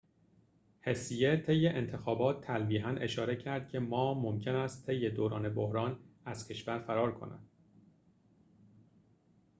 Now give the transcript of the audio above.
هسیه طی انتخابات تلویحاً اشاره کرد که ما ممکن است طی دوران بحران از کشور فرار کند